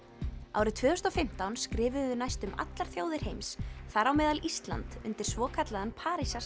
árið tvö þúsund og fimmtán skrifuðu næstum allar þjóðir heims þar á meðal Ísland undir svokallaðan